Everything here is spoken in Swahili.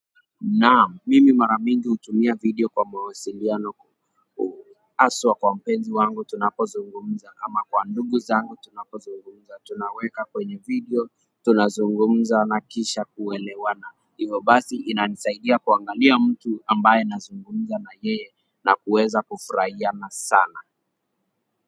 Naam mimi mara mingi hutumia video kwa mawasiliano aswa kwa mpenzi wangu tunapozungumza ama kwa ndugu zangu tunapozungumza tunaweka kwenye video tunazungumza na kisha kuelewana hivyo basi inanisaidia kuangalia mtu ambaye nazungumza na yeye na kuweza kufurahia na sana.